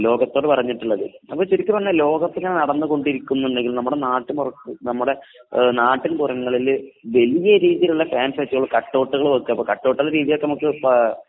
ലോകത്തോട് പറഞ്ഞിട്ടുള്ളത് . ശരിക്കും പറഞ്ഞാൽ ലോക കപ്പ് നടന്നു കൊണ്ടിരിക്കുമ്പോൾ നമ്മുടെ നാട്ടില് വലിയ രീതിയിലുള്ള കട്ട് ഔട്ട് വെക്കുക